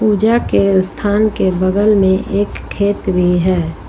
पूजा के स्थान के बगल में एक खेत भी है।